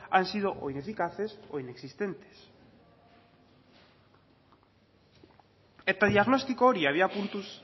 han sido o ineficaces o inexistentes eta diagnostiko hori abiapuntu